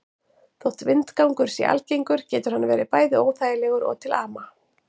Þótt vindgangur sé algengur getur hann verið bæði óþægilegur og til ama.